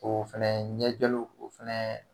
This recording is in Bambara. O fɛnɛ ɲɛjɛliw o fɛnɛ